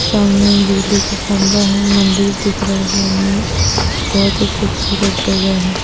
सामने बिजली का खम्बा हैं मंदिर दिख रहे सामने बहुत ही खूबसूरत जगह हैं।